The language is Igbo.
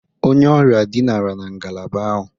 Onye ọrịa dinara na ngalaba ahụ.